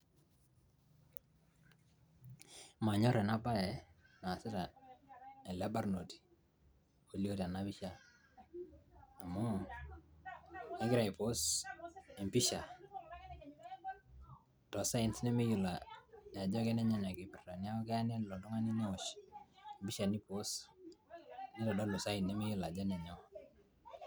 Manyor ena baye naasita ele barnoti olio tena pisha amu kegira aipost empisha too signs nemeyiolo ajo kenenyoo enkipirta neeku kelo neo oltung'ani nei post neitodolu sign nemeyiolo ajo enenyoo.